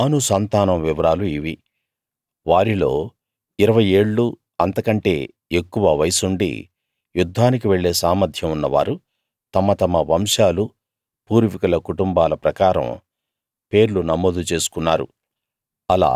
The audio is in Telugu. దాను సంతానం వివరాలు ఇవి వారిలో ఇరవై ఏళ్ళూ అంతకంటే ఎక్కువ వయస్సుండి యుద్ధానికి వెళ్ళే సామర్థ్యం ఉన్నవారు తమ తమ వంశాలూ పూర్వీకుల కుటుంబాల ప్రకారం పేర్లు నమోదు చేసుకున్నారు